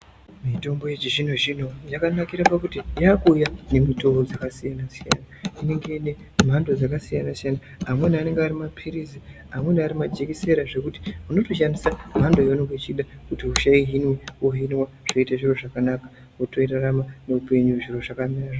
Mitombo yechizvino zvino yakanakira pakuti yakuuya nemutoo dzakasiyana siyana inenge ine mhando dzakasiyana siyana amweni anenge ari mapilizi amweni ari majekisera zvekuti unotoshandisa mhando yaunenge uchida kuti hosha ihinwe wohinwa zvoite zviro zvakanaka wotorarama muupenyu zviro zvakamira zvaka.